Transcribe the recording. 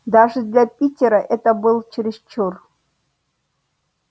даже для питера это был чересчур